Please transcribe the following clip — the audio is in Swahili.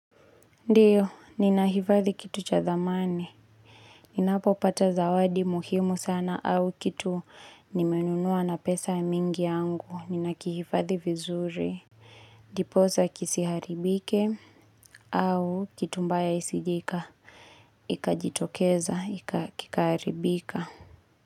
Ndiyo, ninahifadhi kitu cha dhamani. Ninapo pata zawadi muhimu sana au kitu nimenunua na pesa mingi yangu. Ninakihifadhi vizuri. Diposa kisiharibike au kitu mbaya isijike. Ikajitokeza, kakiharibika.